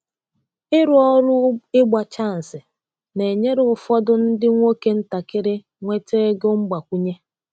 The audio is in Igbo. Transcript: Ịrụ ụlọ ịgba chansi na-enyere ụfọdụ ndị nwoke ntakịrị nweta ego mgbakwunye.